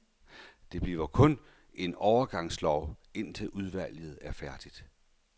Det bliver kun en overgangslov, indtil udvalget er færdigt.